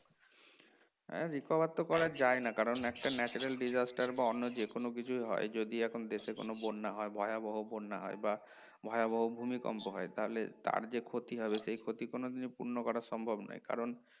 হ্যাঁ record তো করা যায় না কারণ একটা natural disaster বা অন্য যেকোনো কিছুই হয় যদি এখন দেশে কোনো বন্যা হয় ভয়াবহ বন্যা হয় বা ভয়াবহ ভূমিকম্প হয় তাহলে তার যে ক্ষতি হবে সেই ক্ষতি কোনদিনই পূর্ণ করা সম্ভব নয় কারণ